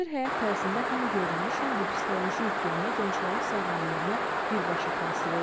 Müasir həyat tərzində həm görünüş, həm də psixoloji yüklənmə gənclərin sağlamlığına birbaşa təsir edir.